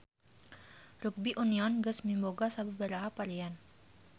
Rugbi union geus miboga sababaraha varian.